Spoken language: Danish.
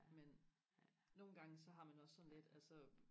men nogle gange så har man det også sådan lidt altså